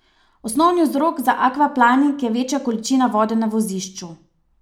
Osnovni vzrok za akvaplaning je večja količina vode na vozišču.